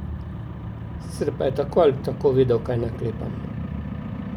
Sicer pa je tako ali tako vedel, kaj naklepam.